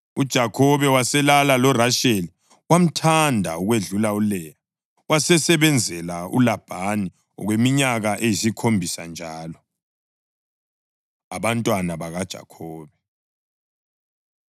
UJakhobe waselala loRasheli, wamthanda ukwedlula uLeya. Wasesebenzela uLabhani okweminye iminyaka eyisikhombisa njalo. Abantwana BakaJakhobe